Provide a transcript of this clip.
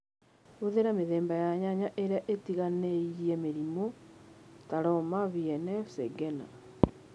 Hũthĩra mĩthemba ya nyanya ĩrĩa ĩtiganĩirie mĩrimũ (ta "roma VNF","Shengena",